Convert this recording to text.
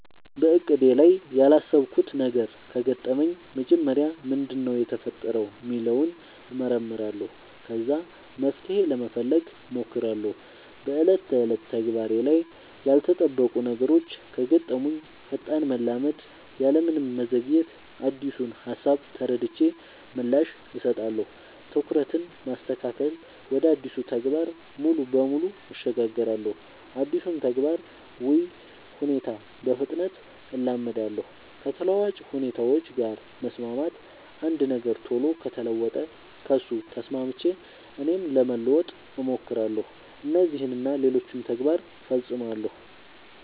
በእቅዴ ላይ ያላሰብኩት ነገር ከገጠመኝ መጀመሪያ ምንድነው የተፈጠረው ሚለውን እመረምራለሁ ከዛ መፍትሄ ለመፈለግ ሞክራለው በ ዕለት ተዕለት ተግባሬ ላይ ያልተጠበቁ ነገሮች ከገጠሙኝ ፈጣን መላመድ ያለምንም መዘግየት አዲሱን ሃሳብ ተረድቼ ምላሽ እሰጣለሁ። ትኩረትን ማስተካከል ወደ አዲሱ ተግባር ሙሉ በሙሉ እሸጋገራለሁ አዲሱን ተግባር ወይ ሁኔታ በፍጥነት እላመዳለው። ከተለዋዋጭ ሁኔታዎች ጋር መስማማት አንድ ነገር ቶሎ ከተለወጠ ከሱ ተስማምቼ እኔም ለመለወጥ ሞክራለው። እነዚህን እና ሌሎችም ተግባር ፈፅማለው።